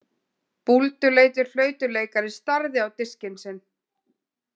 Búlduleitur flautuleikari starði á diskinn sinn.